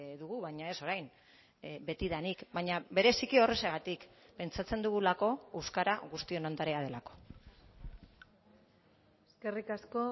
dugu baina ez orain betidanik baina bereziki horrexegatik pentsatzen dugulako euskara guztion ondarea delako eskerrik asko